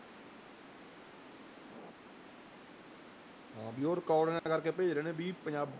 ਹਾਂ ਵੀ ਉਹ ਰਿਕਾਰਡਿੰਗਾਂ ਕਰਕੇ ਭੇਜ ਰਹੇ ਨੇ ਵੀ ਪੰਜਾ